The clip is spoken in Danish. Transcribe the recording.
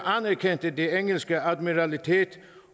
anerkendte det engelske admiralitet